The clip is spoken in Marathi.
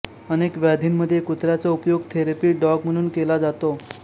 अनेक व्याधींमध्ये कुत्र्याचा उपयोग थेरपी डॉग म्हणून केला जातो